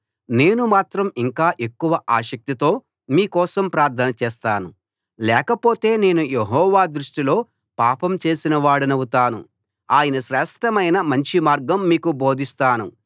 నేను మాత్రం ఇంకా ఎక్కువ ఆసక్తితో మీ కోసం ప్రార్థన చేస్తాను లేకపోతే నేను యెహోవా దృష్టిలో పాపం చేసినవాడనవుతాను ఆయనశ్రేష్ఠమైన మంచి మార్గం మీకు బోధిస్తాను